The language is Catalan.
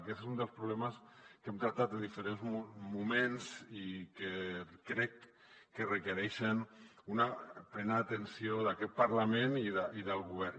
aquest és un dels problemes que hem tractat en diferents moments i que crec que requereix una plena atenció d’aquest parlament i del govern